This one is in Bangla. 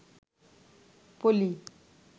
পলি